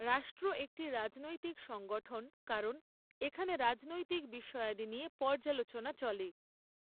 রাষ্ট্র একটি রাজনৈতিক সংগঠণ কারণ এখানে রাজনৈতিক বিষয়াদি নিয়ে পর্যালোচনা চলে।